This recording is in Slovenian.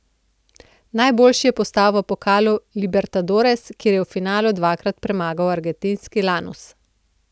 Najboljši je postal v pokalu Libertadores, kjer je v finalu dvakrat premagal argentinski Lanus.